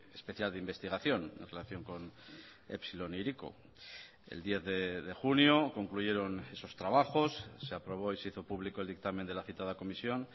especial de investigación en relación con epsilon e hiriko el diez de junio concluyeron esos trabajos se aprobó y se hizo público el dictamen de la citada comisión